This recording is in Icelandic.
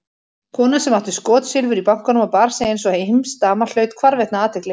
Kona sem átti skotsilfur í bankanum og bar sig einsog heimsdama hlaut hvarvetna athygli.